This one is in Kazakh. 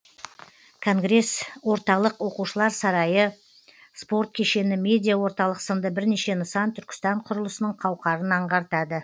конгресс орталық оқушылар сарайы спорт кешені медиа орталық сынды бірнеше нысан түркістан құрылысының қауқарын аңғартады